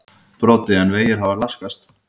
Broddi: En vegir hafa laskast?